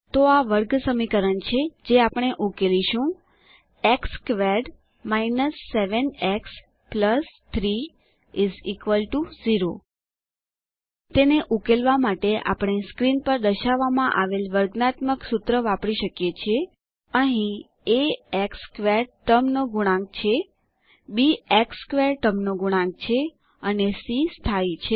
તો આ વર્ગસમીકરણ છે જે આપણે ઉકેલીશું એક્સ સ્ક્વેર્ડ 7 એક્સ 3 0 તેને ઉકેલવા માટે આપણે સ્ક્રીન પર દર્શાવવામાં આવેલ વર્ગાત્મક સૂત્ર વાપરી શકીએ છીએ અહીં એ એક્સ સ્ક્વેર્ડ ટર્મનો ગુણાંક છે બી એક્સ સ્ક્વેર્ડ ટર્મનો ગુણાંક છે અને સી સ્થાયી છે